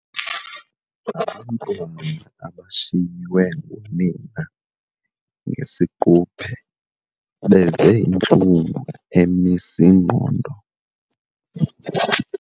abashiywe ngunina ngesiquphe beve intlungu emis' ingqondo.